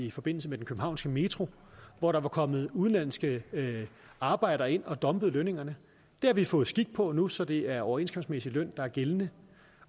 i forbindelse med den københavnske metro hvor der var kommet udenlandske arbejdere ind og dumpet lønningerne det har vi fået sat skik på nu så det er overenskomstmæssig løn der er gældende